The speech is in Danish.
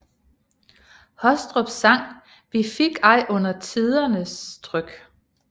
Hostrups sang Vi fik ej under tidernes tryk